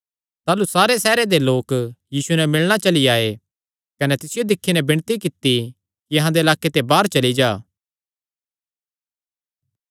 ताह़लू सारे सैहरे दे लोक यीशुये नैं मिलणा चली आये कने तिसियो दिक्खी नैं विणती कित्ती कि अहां दे लाक्के ते बाहर चली जा